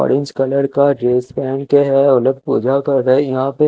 orange colour का jeans पहन के है ओ लोग पूजा कर रहे यहां पे--